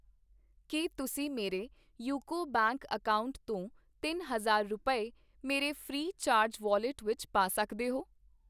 ਕੀ ਤੁਸੀਂ ਮੇਰੇ UCO bank account ਤੋਂ ਤਿੰਨ ਹਜ਼ਾਰ ਰੁਪਏ, ਮੇਰੇ ਫ੍ਰੀ ਚਾਰਜ ਵੌਲਿਟ ਵਿੱਚ ਪਾ ਸਕਦੇ ਹੋ ?